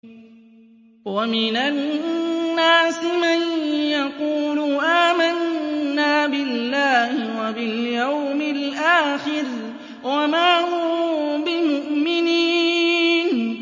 وَمِنَ النَّاسِ مَن يَقُولُ آمَنَّا بِاللَّهِ وَبِالْيَوْمِ الْآخِرِ وَمَا هُم بِمُؤْمِنِينَ